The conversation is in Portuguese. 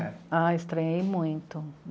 Ah, estranhei muito.